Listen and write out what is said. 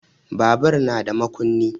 Babur na da makunni.